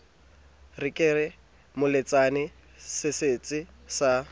re ke moletsane setsetse sa